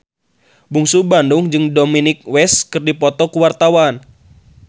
Bungsu Bandung jeung Dominic West keur dipoto ku wartawan